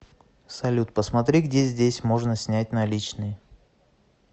салют посмотри где здесь можно снять наличные